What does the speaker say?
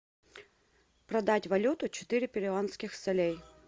продать валюту четыре перуанских солей